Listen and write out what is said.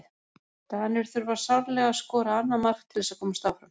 Danir þurfa sárlega að skora annað mark til þess að komast áfram.